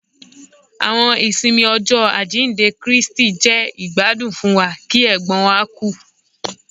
Àwọn ìsinmi Ọjọ ajinde Kristi jẹ igbadun fún wa ki ègbón wa ku